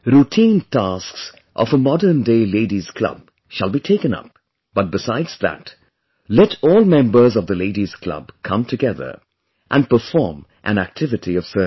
Routine tasks of a modern day Ladies' club shall be taken up, but besides that, let all members of the Ladies' club come together & perform an activity of service